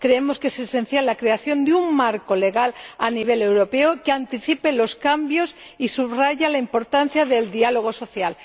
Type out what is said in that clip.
creemos que es esencial la creación de un marco jurídico a nivel europeo que anticipe los cambios y subraye la importancia del diálogo social.